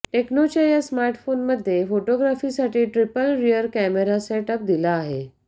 टेक्नोच्या या स्मार्टफोनमध्ये फोटोग्राफीसाठी ट्रिपल रियर कॅमेरा सेटअप दिला आहे